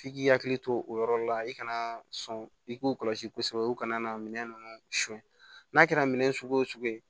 F'i k'i hakili to o yɔrɔ la i kana sɔn i k'u kɔlɔsi kosɛbɛ u kana na minɛn ninnu suɲɛ n'a kɛra minɛ sugu o sugu ye